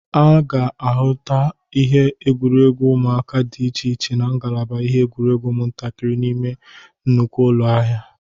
A ga-ahụta ihe egwuregwu ụmụaka dị iche iche na ngalaba ihe igwuregwu ụmụntakịrị n'ime nnukwu ụlọ ahịa.